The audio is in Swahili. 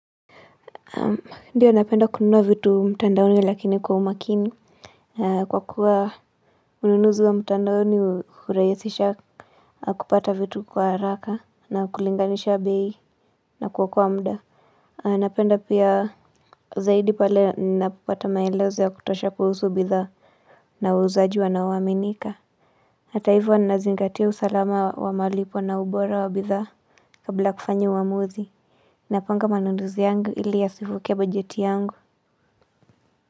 Ndiyo napenda kununua vitu mtandaoni lakini kwa umakini. Kwa kuwa ununuzu wa mtandaoni hurahisisha kupata vitu kwa haraka na kulinganisha bei na kuokoa muda. Napenda pia zaidi pale napopata maelezo ya kutosha kuhusu bidhaa na wauzaji wanaoaminika. Hata hivo nazingatia usalama wa malipo na ubora wa bidhaa kabla kufanya uwamuzi. Napanga manunuzi yangu ili yasivuke budget yangu.